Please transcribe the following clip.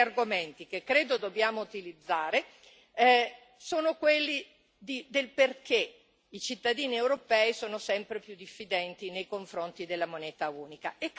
I veri argomenti che credo dobbiamo utilizzare sono quelli del perché i cittadini europei sono sempre più diffidenti nei confronti della moneta unica.